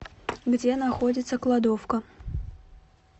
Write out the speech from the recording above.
где находится кладовка